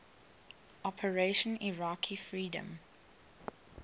operation iraqi freedom